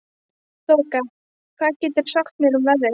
Þoka, hvað geturðu sagt mér um veðrið?